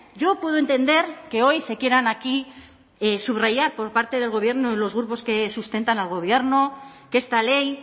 yo puedo entender que hoy se quieran aquí subrayar por parte del gobierno y los grupos que sustentan al gobierno que esta ley